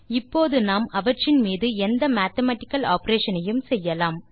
இப்போது நாம் அவற்றின் மீது எந்த மேத்தமேட்டிக்கல் ஆப்பரேஷன் ஐயும் செய்யலாம்